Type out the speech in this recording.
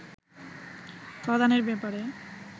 প্রদানের ব্যাপারে